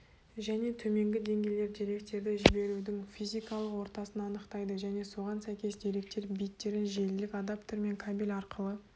және төменгі деңгейлер деректерді жіберудің физикалық ортасын анықтайды және соған сәйкес деректер биттерін желілік адаптер мен кабель арқылы